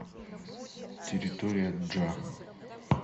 территория джа